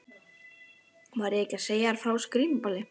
Var ég ekki að segja þér frá þessu grímuballi?